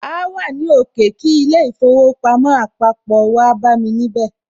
Áá wà ní òkè kí í ilé īfowòpamó àpapò, wáá bámi níbẹ̀